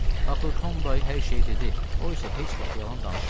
Axı Tom dayı hər şeyi dedi, o isə heç vaxt yalan danışmır.